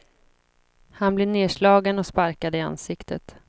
Han blir nedslagen och sparkad i ansiktet.